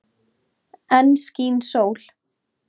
Enn skín sól.